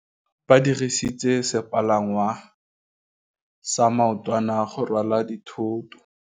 Ba dirisitse sepalangwasa maotwana go rwala dithôtô.